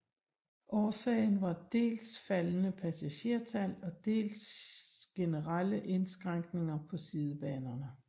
Årsagen var dels faldende passagertal og dels generelle indskrænkninger på sidebanerne